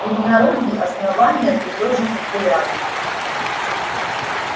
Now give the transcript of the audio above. и в народе основания ты тоже популярен